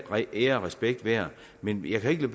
ære og respekt værd men jeg kan ikke